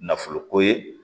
Nafolo ko ye